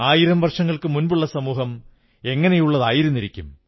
ആയിരം വർഷങ്ങൾക്കുമുമ്പുള്ള സമൂഹം എങ്ങനെയുള്ളതായിരുന്നിരിക്കും